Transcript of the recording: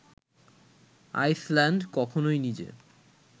Iceland কখনোই নিজে